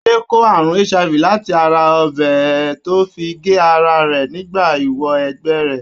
Adé kó àrùn HIV láti ara ọ̀bẹ tó fi gé ara rẹ̀ nígbà ìwọ - ẹgbẹ́ rẹ̀.